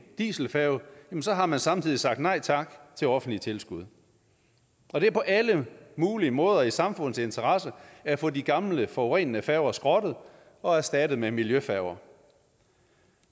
dieselfærge har man samtidig sagt nej tak til offentlige tilskud det er på alle mulige måder i samfundets interesse at få de gamle forurenende færger skrottet og erstattet med miljøfærger